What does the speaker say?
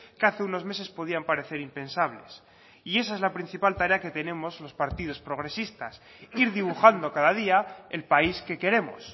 que hace unos meses podían parecer impensables y esa es la principal tarea que tenemos los partidos progresistas ir dibujando cada día el país que queremos